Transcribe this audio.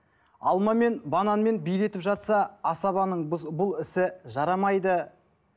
алма мен бананмен билетіп жатса асабаның бұл ісі жарамайды